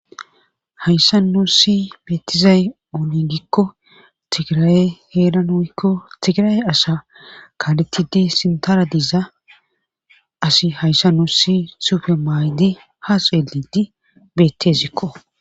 hayssa no si meetizay ooni gikko tigiraye heeran hoykko tigira7e asa kaaletidi sintara diiza asi hayssa no si sufe maaydi haseelidi beettezikko